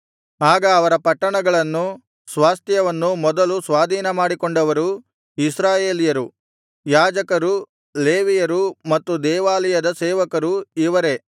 ಆಗ ಅವರ ಪಟ್ಟಣಗಳನ್ನೂ ಸ್ವಾಸ್ತ್ಯವನ್ನೂ ಮೊದಲು ಸ್ವಾಧೀನಮಾಡಿಕೊಂಡವರು ಇಸ್ರಾಯೇಲ್ಯರು ಯಾಜಕರು ಲೇವಿಯರು ಮತ್ತು ದೇವಾಲಯದ ಸೇವಕರು ಇವರೇ